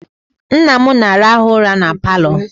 Nna m na-arahụ ụra na Palọ